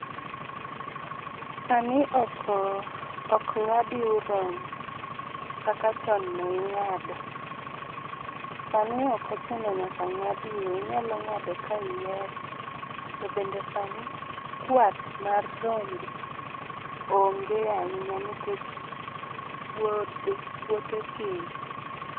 Sani ok oh ok ng'ad yiw rombo kaka chon ne ing'ado. Sani ok ochuno nyaka ng'ad yiwe, inyalo ng'ado ka ihero. To bende sani kwath mar rombe onge ahinya nikech wuodhe puothe tin.